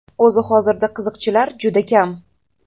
O‘zi hozirda qiziqchilar juda kam.